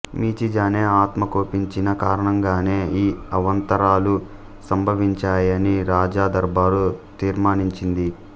Michizane ఆత్మ కోపించిన కారణంగానే ఈ అవాంతరాలు సంభవించాయని రాజ దర్బారు తీర్మానించింది